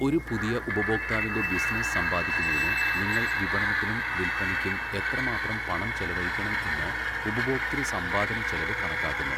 ഒരു പുതിയ ഉപഭോക്താവിന്റെ ബിസിനസ്സ് സമ്പാദിക്കുന്നതിന് നിങ്ങൾ വിപണനത്തിനും വിൽപ്പനയ്ക്കും എത്രമാത്രം പണം ചെലവഴിക്കണം എന്ന് 'ഉപഭോക്തൃസമ്പാദനച്ചെലവ്' കണക്കാക്കുന്നു.